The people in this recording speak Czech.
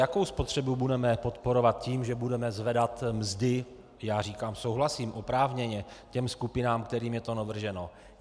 Jakou spotřebu budeme podporovat tím, že budeme zvedat mzdy - já říkám, souhlasím, oprávněně - těm skupinám, kterým je to navrženo?